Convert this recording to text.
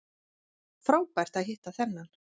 Frábært að hitta þennan